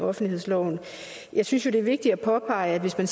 offentlighedsloven jeg synes jo det er vigtigt at påpege